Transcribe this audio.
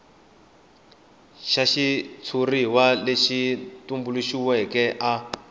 xa xitshuriwa lexi tumbuluxiweke a